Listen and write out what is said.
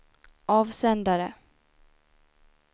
avsändare